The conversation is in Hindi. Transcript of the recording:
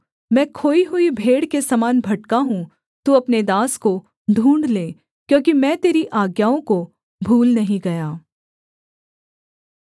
मैं खोई हुई भेड़ के समान भटका हूँ तू अपने दास को ढूँढ़ ले क्योंकि मैं तेरी आज्ञाओं को भूल नहीं गया